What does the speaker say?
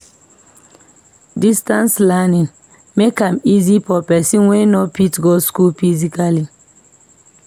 Distance learning make am easy for person wey no fit go school physically.